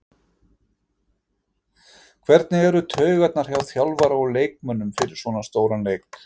Hvernig eru taugarnar hjá þjálfara og leikmönnum fyrir svona stóran leik?